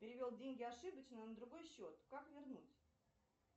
перевел деньги ошибочно на другой счет как вернуть